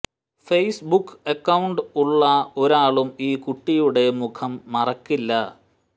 face book account ഉള്ള ഒരാളും ഈ കുട്ടിയുടെ മുഖം മറക്കില്ല